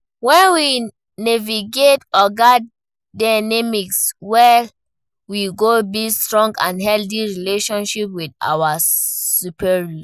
When we navigate oga dynamics well, we go build strong and healthy relationships with our superiors.